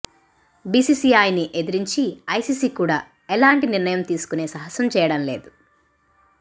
బీసీసీఐని ఎదురించి ఐసీసీ కూడా ఎలాంటి నిర్ణయం తీసుకునే సాహసం చేయడం లేదు